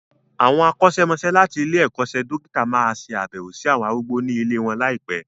Àwọn akọ́ṣẹ́mọsẹ́ láti ilé-ẹ̀kọ́ṣẹ́ dókítà máa ṣe abewo sí àwọn arúgbó ní ilée wọn ní àìpé.